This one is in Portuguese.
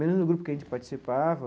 Mesmo no grupo que a gente participava,